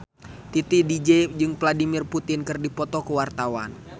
Titi DJ jeung Vladimir Putin keur dipoto ku wartawan